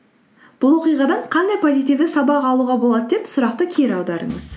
бұл оқиғадан қандай позитівті сабақ алуға болады деп сұрақты кері аударыңыз